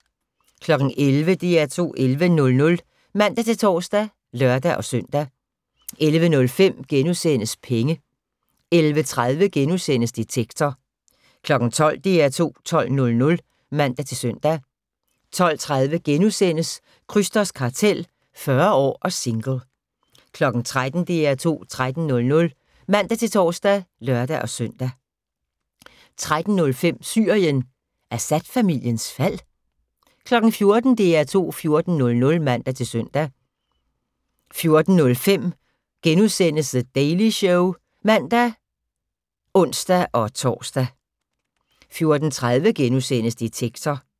11:00: DR2 11.00 (man-tor og lør-søn) 11:05: Penge * 11:30: Detektor * 12:00: DR2 12.00 (man-søn) 12:30: Krysters Kartel – 40 år og single * 13:00: DR2 13.00 (man-tor og lør-søn) 13:05: Syrien: Assad-familiens fald? 14:00: DR2 14.00 (man-søn) 14:05: The Daily Show *(man og ons-tor) 14:30: Detektor *